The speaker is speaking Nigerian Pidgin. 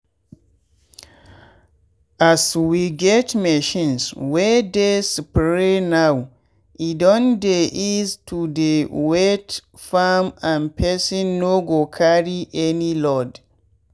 as we get machines wey dey spray now e don dey ease to dey wet farm and person no go carry any load.